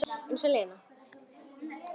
Eins og Lena!